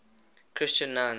christian nuns